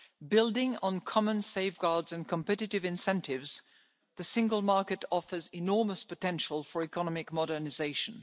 Building on common safeguards and competitive incentives, the Single Market offers enormous potential for economic modernisation.